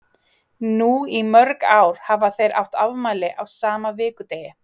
Nú í mörg ár hafa þeir átt afmæli á sama vikudegi.